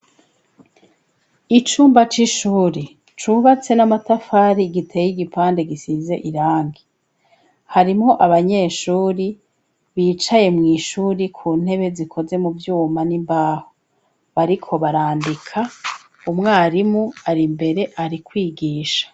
Icumba c'ishure cubatse n'amatafari, giteye igipande gisize irangi, harimwo abanyeshure bicaye mw'ishure ku ntebe zikoze mu vyuma n'imbaho, bariko barandika, umwarimu ari imbere ari kwigisha.